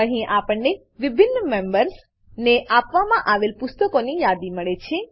અહીં આપણને વિભિન્ન મેમ્બર્સ મેમ્બરો ને આપવામાં આવેલ પુસ્તકોની યાદી મળે છે